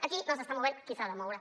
aquí no s’està movent qui s’ha de moure